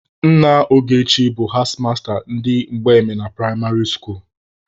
Nna Ogechi bụ hedmasta ndị Mgbemena pụraịmarị skuulu.